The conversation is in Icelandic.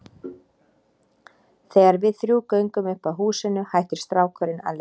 Þegar við þrjú göngum upp að húsinu hættir strákurinn að leika sér.